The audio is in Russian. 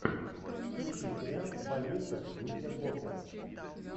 включи сериал больница никербокер